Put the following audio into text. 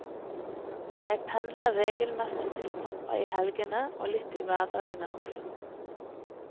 Jeg pendler reglemessig til pappa i helgene og litt i hverdagene også.